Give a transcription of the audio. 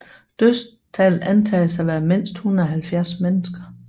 Dødstallet antages at være mindst 170 mennesker